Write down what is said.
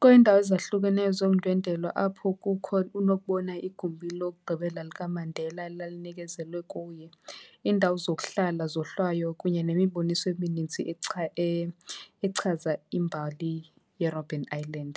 Kuneendawo ezahlukeneyo zokundwendwela apho kukho unokubona igumbi lokugqibela likaMandela elalinikezelwe kuye. Iindawo zokuhlala, izohlwayo kunye nemiboniso eminintsi echaza imbali yeRobben Island.